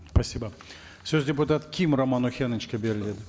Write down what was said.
спасибо сөз депутат ким роман охеновичке беріледі